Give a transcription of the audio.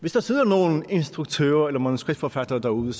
hvis der sidder nogle instruktører eller manuskriptforfattere derude